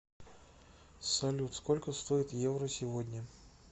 салют сколько стоит евро сегодня